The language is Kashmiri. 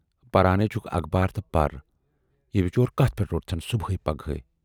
پَران نےَ چھُکھ اَخبار تہٕ پَر، یہِ بِچور کتَھ پٮ۪ٹھ روٹتھَن صُبحےَ پگہےَ۔